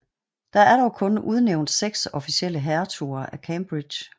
Der er dog kun udnævnt seks officielle hertuger af Cambridge